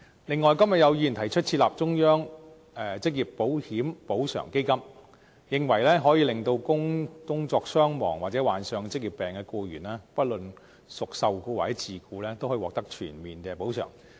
另外，今日有議員提出設立"中央職業保險補償基金"，認為可以令工作傷亡或患上職業病的僱員，不論屬受僱或自僱，均可以獲得全面補償。